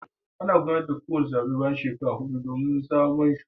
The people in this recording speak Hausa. Ana gudanar da zabe bayan kowace shekara hudu domin zaben sabbin shugabanni.